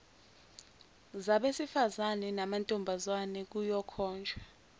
zabesifazane namantombazane kuyokhonjwa